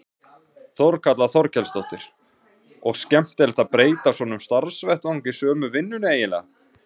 Þórhildur Þorkelsdóttir: Og skemmtilegt að breyta svona um starfsvettvang í sömu vinnunni eiginlega?